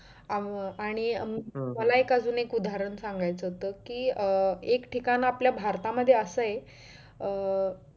अं आणि मला अजून एक उदाहरण सांगायचं होत कि अं एक ठिकाण आपल्या भारतामध्ये असं आहे अं